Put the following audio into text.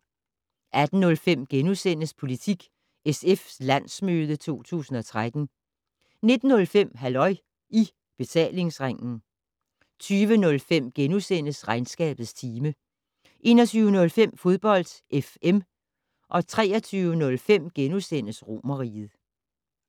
18:05: Politik: SF - landsmøde 2013 * 19:05: Halløj I Betalingsringen 20:05: Regnskabets time * 21:05: Fodbold FM 23:05: Romerriget *